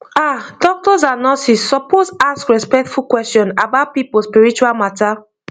ah doctors and nurses suppose ask respectful question about people spiritual matter